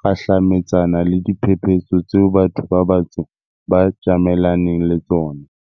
kgahlametsana le diphephetso tseo batho ba batsho ba tjamelaneng le tsona.